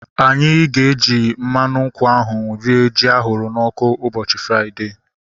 Anyị ga-eji mmadụ nkwụ ahu rie ji ahụrụ n'ọkụ ụbọchị Fraịdee